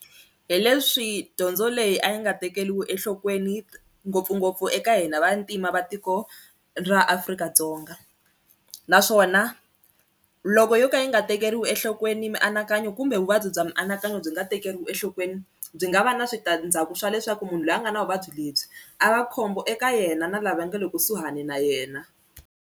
Hi leswi dyondzo leyi a yi nga tekeriwi enhlokweni ngopfungopfu eka hina vantima va tiko ra Afrika-Dzonga naswona loko yo ka yi nga ta tekeriwi enhlokweni mianakanyo kumbe vuvabyi bya mianakanyo byi nga tekeriwi enhlokweni, byi nga va na switandzhaku swa leswaku munhu loyi a nga na vuvabyi lebyi a va khombo eka yena na lava nga le kusuhani na yena.